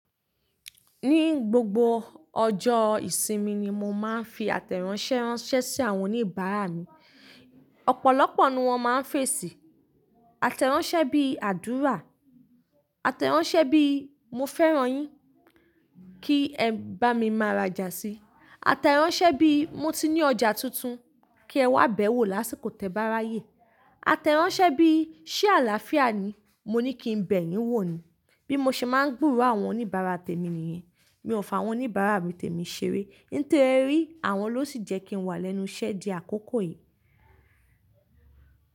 Ní gbogbo ọjọ́ ìsinmi ni mo máa ń fi àtẹ̀ránsẹ́ ránṣẹ́ sí àwọn oníbàárà mi. Ọ̀pọ̀lọpọ̀ ni wọ́n máa ń fèsì. Àtẹ̀ránsẹ́ bí i àdúrà, àtẹ̀ránsẹ́ bíi mo fẹ́ràn yín kí ẹ bá mi máa rajà síi, àtẹ̀ránsẹ́ bíi mo ti ní ọjà tuntun kí ẹ wá bẹ̀ wò lásìkò tẹ́ bá rayé, àtẹ̀ránsẹ́ bíi ṣé àlàáfíà ni? Mo ní kí n bẹ̀ yín wò ni. Bí mo ṣe máa ń gbúrò àwọn oníbàárà tèmi nìyẹn. Mi ò f'àwọ́n oníbàárà mi tèmi ṣeré. Nítorí àwọn ló sì jẹ́ kí n wà lẹ́nu iṣẹ́ di akókò yìí.